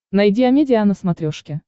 найди амедиа на смотрешке